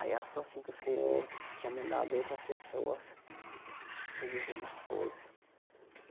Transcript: Aí, ela falou assim que o senhor tinha mandado outras pessoas me dizer umas coisas.